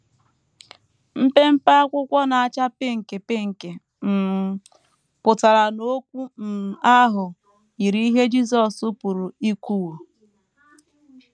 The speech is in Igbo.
Mpempe akwụkwọ na - acha pinki pinki um pụtara na okwu um ahụ yiri ihe Jisọs pụrụ ikwuwo.